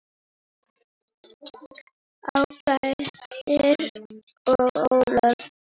Ásgeir og Ólöf.